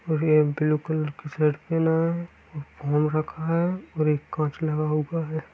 और ये blue colour की शर्ट पहना है घूम रखा है और एक कांच लगा हुआ है।